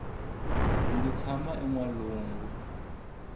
ndzi tshama enwalungu